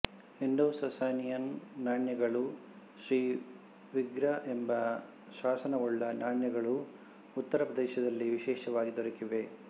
Indo Sassanian ನಾಣ್ಯಗಳೂ ಶ್ರೀ ವಿಗ್ರ ಎಂಬ ಶಾಸನವುಳ್ಳ ನಾಣ್ಯಗಳೂ ಉತ್ತರಪ್ರದೇಶದಲ್ಲಿ ವಿಶೇಷವಾಗಿ ದೊರಕಿವೆ